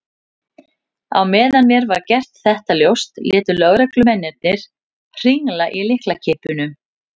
Á meðan mér var gert þetta ljóst létu lögreglumennirnir hringla í lyklakippum.